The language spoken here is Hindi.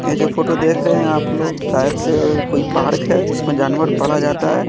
ये जो फोटो देख रहे हैं आप लोग शायद से कोई पार्क है जिसमें जानवर पाला जाता है।